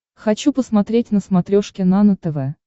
хочу посмотреть на смотрешке нано тв